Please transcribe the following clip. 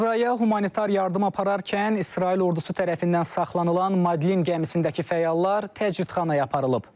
Qəzzaya humanitar yardım apararkən İsrail ordusu tərəfindən saxlanılan Madlen gəmisindəki fəallar təcridxanaya aparılıb.